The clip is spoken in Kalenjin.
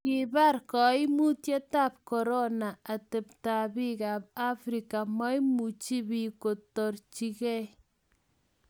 kibar kaimutietab korona atebtab biikab Afrika, maimuchi biik korutochigei.